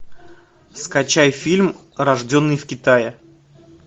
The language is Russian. скачай фильм рожденный в китае